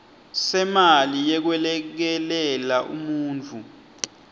semali yekwelekelela umuntfu